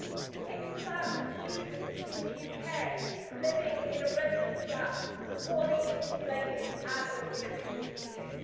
It is about the student in the UK, living in a rented flat, poorly insulated, and with inefficient heating.